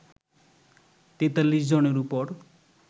৪৩ জনের উপর